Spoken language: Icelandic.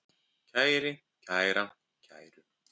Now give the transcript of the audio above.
kæri, kæra, kæru